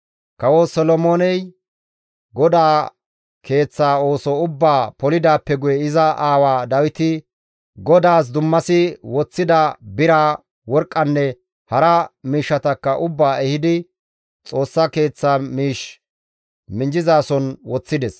Kawo Solomooney GODAA Keeththa ooso ubbaa polidaappe guye iza aawa Dawiti GODAAS dummasi woththida bira, worqqanne hara miishshatakka ubbaa ehidi Xoossa Keeththa miish minjjizason woththides.